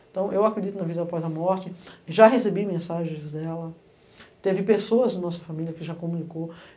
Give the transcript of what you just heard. Então, eu acredito na vida após a morte, já recebi mensagens dela, teve pessoas da nossa família que já comunicou.